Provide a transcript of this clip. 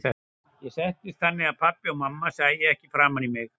Ég settist þannig að pabbi og mamma sæju ekki framan í mig.